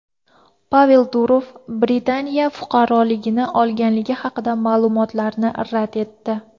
Pavel Durov Britaniya fuqaroligini olganligi haqidagi ma’lumotlarni rad etdi.